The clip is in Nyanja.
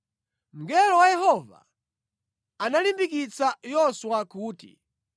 Mngelo wa Yehova analimbikitsa Yoswa kuti,